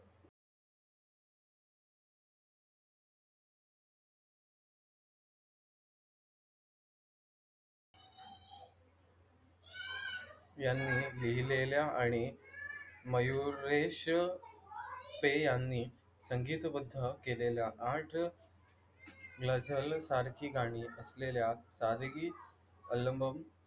यांनी लिहिलेल्या आणि मयुरेश पै यांनी संगीतबद्ध केलेल्या आठ गझलसारखी गाणी असलेल्या सादगी अल्बम,